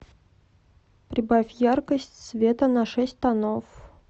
прибавь яркость света на шесть тонов